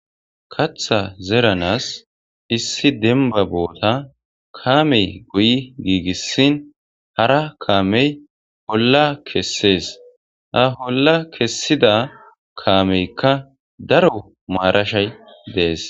Katha zeranas issi demba boota kaamey guyi giigissin hara kaamey polla kessees ha holla kessida kaameykka daro maarashay dees.